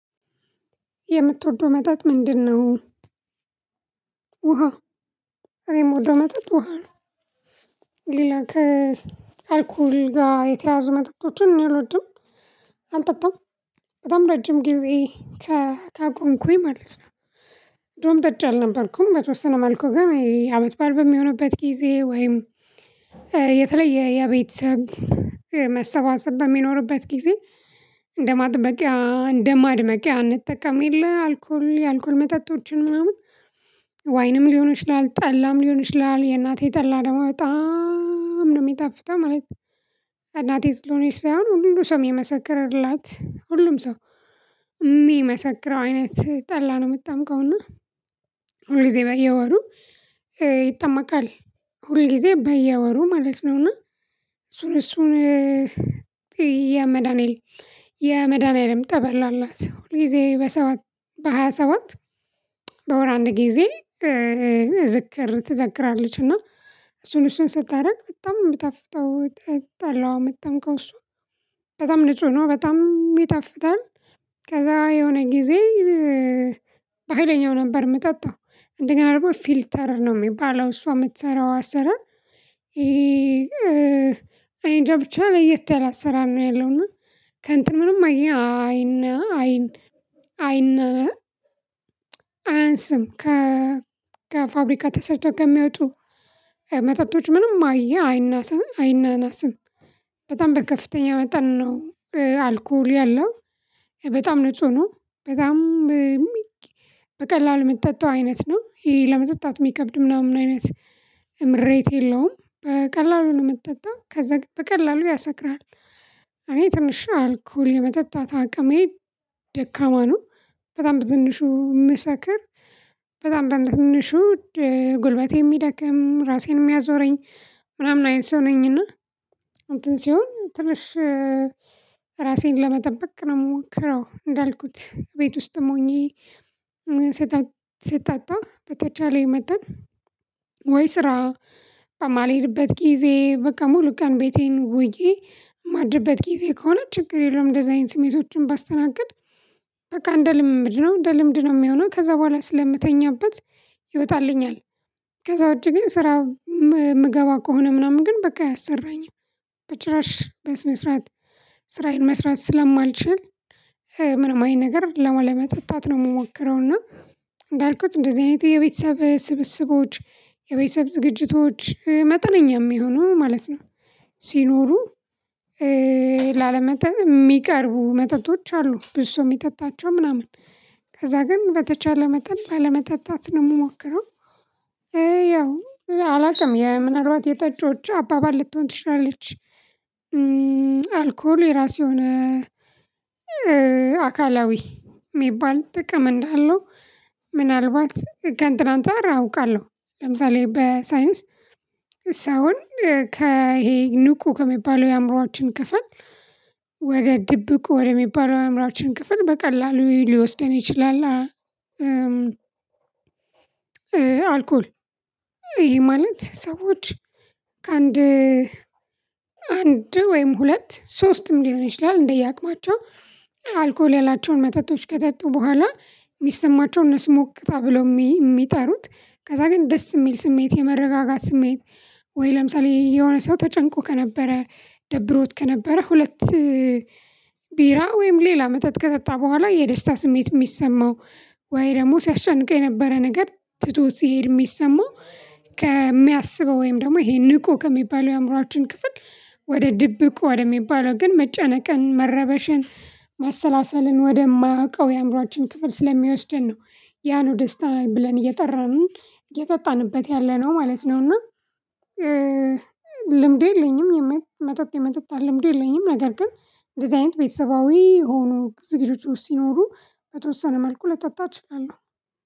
የምትወደው መጠጥ ምንድነው?" "ውሃ።" እኔም የምወደው መጠጥ ውሃ ነው። ሌላ ከአልኮል ጋር የተያያዙ መጠጦችን እኔ አልወድም፤ አልጠጣም። በጣም ረጅም ጊዜ ከታቀብኩኝ ማለት ነ—ድሮም ጠጭ አልነበርኩም። በተወሰነ መልኩ ግን በዓል በሚሆንበት ጊዜ ወይም የተለየ የቤተሰብ መሰባሰብ በሚኖርበት ጊዜ እንደ ማጥበቂያ፣ እንደ ማድመቂያ አንጠቀምም፤ የለ—አልኮል የአልኮል መጠጦችን ምናምን ዋይንም ሊሆን ይችላል፣ ጠላም ሊሆን ይችላል። የእናቴ ጠላ ደግሞ በጣም ነው የሚጣፍጠው ማለት ነው! "እናቴ ስለሆነች" ሳይሆን፣ ሁሉ ሰው የመሰከረላት—ሁሉም ሰው የሚመሰክረው አይነት ጠላ ነው የምትጠምቀው፤ እና ሁሉ ጊዜ በየወሩ ይጠመቃል—ሁል ጊዜ በየወሩ ማለት ነው፤ እና እሱን እሱን የመድኃንዔል የመድኃኔዓለም ጠበል አላት—ሁልጊዜ በሰባት፣ በሃያ ሰባት በወር አንድ ጊዜ ዝክር ትዘክራለች፤ እና እሱን እሱን ስታደርግ በጣም የሚጣፍጠው ጠላዋ፣ የምትጠምቀው እሱ በጣም ንጹህ ነው፣ በጣም ይጣፍጣል። ከዛ የሆነ ጊዜ በሃይለኛው ነበር የምጠጣው! እንደገና ደግሞ "ፊልተር" ነው የሚባለው—እሷ የምትሠራው አሰራር እኔ እንጃ ብቻ ለየት ያለ አሰራር ነው ያለው፤ እና ከንተ ምንም አይን ዓይነን አይን አይን አያንስም—ከፋብሪካ ተሰርተው ከሚወጡት መጠጦች ምንም አይ አይናንስም፤ አይናናስም! በጣም በከፍተኛ መጠን ነው አልኮል ያለው በጣም ንጹህ ነው። በጣም በቀላሉ የምትጠጣው አይነት ነው፤ ይሄ ለመጠጣት የሚከብድ፣ ምናምን አይነት ምሬት የለውም—በቀላሉ ነው የምትጠጣው፤ ከዛ በቀላሉ ያሰክራል። እኔ ትንሽ የአልኮል የመጠጣት አቅሜ ደካማ ነው። በጣም በትንሹ የምሰክር፣ በጣም በትንሹ ጉልበቴ የሚደክም፣ ራሴን የሚያዞረኝ ምናምን አይነት ሰው ነኝ፤ እና እንትን ሲሆን ትንሽ ራሴን ለመጠበቅ ነው የምሞክረው—እንዳልኩት፣ ቤት ውስጥም ሆኜ ስጠጣ በተቻለ መጠን ወይ ስራ በማልሄድበት ጊዜ፣ በቃ ሙሉ ቀን ቤቴን ውዬ የማድርበት ጊዜ ከሆነ ችግር የለውም፤ እንደዚህ አይነት ስሜቶችን ባስተናግድ በቃ እንደ ልምምድ ነው፣ እንደ ልምድ ነው የሚሆነው። ከዛ በኋላ ስለምተኛበት ይወጣልኛል። ከዛ ውጭ ግን ስራ የምገባ ከሆነ ምናምን ግን በቃ አያሠራኝም! በጭራሽ በስነ ስርዓት ስራዬን መስራት ስለማልችል፣ ምንም አይነት ነገር ላለመጠጣት ነው የምሞክረው፤ እና እንዳልኩት እንደዚህ አይነት የቤተሰብ ስብስቦች፣ የቤተሰብ ዝግጅቶች መጠነኛም የሚሆነው ማለት ነው—ሲኖሩ ላለመጠ የሚቀርቡ መጠጦች አሉ፤ ብዙ ሰው የሚጠጣቸው ምናምን ከዛ ግን በተቻለ መጠን ባለመጠጣት ነው የምሞክረው፤ ያው አላውቅም—ምናልባት የጠጮች አባባል ልትሆን ትችላለች አልኮል የራሱ የሆነ አካላዊ የሚባል ጥቅም እንዳለው ምናልባት ከእንትን አንፃር አውቃለሁ—ለምሳሌ በሳይንስ፣ ሰውን ከይሄ ንቁ ከሚባለው የአእምሮአችን ክፍል ወደ ድብቁ ወደሚባለው የአእምሮአችን ክፍል በቀላሉ ሊወስደን ይችላል አልኮል ይሄ ማለት ሰዎች ከአንድ አንድ ወይም ሁለት፣ ሶስትም ሊሆን ይችላል—እንደየአቅማቸው አልኮል ያላቸውን መጠጦች ከጠጡ በኋላ የሚሰማቸውን—እነሱ "ሞቅታ" ብለው የሚጠሩት—ከዛ ግን ደስ የሚል ስሜት፣ የመረጋጋት ስሜት ወይ ለምሳሌ የሆነ ሰው ተጨንቆ ከነበረ፣ ደብሮት ከነበረ ሁለት ቢራ ወይም ሌላ መጠጥ ከጠጣ በኋላ የደስታ ስሜት የሚሰማው፣ ወይ ደግሞ ሲያስጨንቀው የነበረ ነገር ትቶት ሲሄድ የሚሰማው—ከሚያስበው፣ ወይም ደግሞ ይሄ ንቁ ከሚባለው የአእምሮአችን ክፍል ወደ ድብቁ ወደሚባለው፣ ግን መጨነቅን፣ መረበሽን፣ ማሰላሰልን ወደማያውቀው የአእምሮአችን ክፍል ስለሚወስደን ነው—ያ ነው "ደስታ" ብለን እየጠራን እየጠጣንበት ያለነው ማለት ነው፤ እና ልምዱ የለኝም—መጠጥ የመጠጣት ልምዱ የለኝም። ነገር ግን እንደዚህ አይነት ቤተሰባዊ የሆኑ ዝግጅቶች ውስጥ ሲኖሩ፣ በተወሰነ መልኩ ልጠጣ እችላለሁ